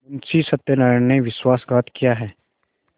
मुंशी सत्यनारायण ने विश्वासघात किया है